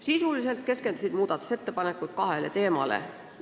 Sisuliselt keskendusid muudatusettepanekud kahele teemale.